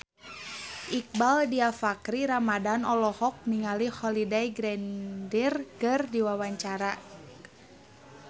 Iqbaal Dhiafakhri Ramadhan olohok ningali Holliday Grainger keur diwawancara